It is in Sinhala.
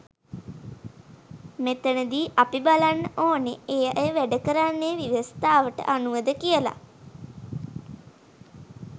මෙතනදි අපි බලන්න ඕනෙ ඒ අය වැඩ කරන්නේ ව්‍යවස්ථාවට අනුවද කියලා.